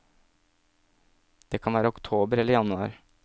Det kan være oktober eller januar.